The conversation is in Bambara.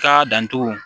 Ka dantugu